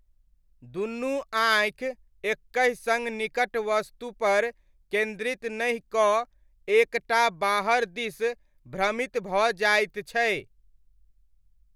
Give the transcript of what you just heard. दुनू आँखि एकहि सङ्ग निकट वस्तुपर केन्द्रित नहि कऽ एक टा बाहर दिस भ्रमित भऽ जाइत छै।